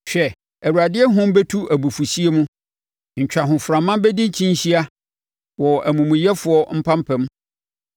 Hwɛ, Awurade ahum bɛtu abufuhyeɛ mu, ntwahoframa bɛdi kyinhyia wɔ amumuyɛfoɔ mpampam.